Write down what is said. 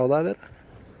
að vera